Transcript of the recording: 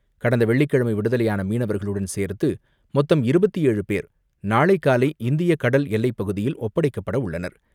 கடந்த வெள்ளிக்கிழமை விடுதலையான மீனவர்களுடன் சேர்த்து மொத்தம் இருபத்து ஏழு பேர் நாளை காலை இந்திய கடல் எல்லைப்பகுதியில் ஒப்படைக்கப்படவுள்ளனர்.